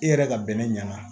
E yɛrɛ ka bɛnɛ ɲɛna